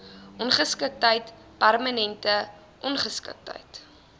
ongeskiktheid permanente ongeskiktheid